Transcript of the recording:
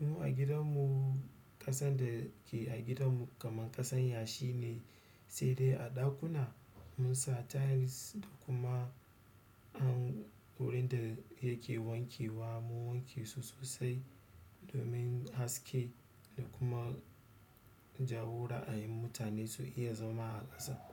Mu a gidan mu ƙasan da ke a gidan mu kaman ƙasan yashi ne, sai dai a ɗakuna mun sa tiles da kuma. Wurin da yake wankewa mun wanke su sosai. Domin haske da kuma jawo ra'ayin mutane su iya zama a ƙasa.